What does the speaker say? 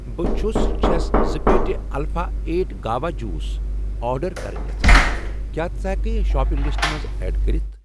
بہٕ چھس ، چھَس زٕ پیٹہِ alpha eight guava juice order کرٕنۍ یژھان، کیٛاہ ژٕ ہٮ۪کہٕ یہِ شاپنگ لسٹَس منٛز ایڈ کٔرِتھ؟